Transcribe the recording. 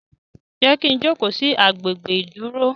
Jé kí ń jókó sí àgbè gbé iduro?